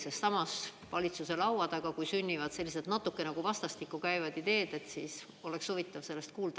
Sest samas, kui valitsuse laua taga sünnivad sellised natukene nagu vastastikku käivad ideed, siis oleks huvitav kuulda.